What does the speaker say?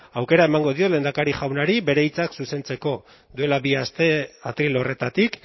aukera emango diot lehendakari jaunari bere hitzak zuzentzeko duela bi aste atril horretatik